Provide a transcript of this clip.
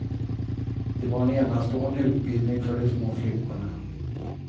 Det var en enastående utbildning för de små flickorna.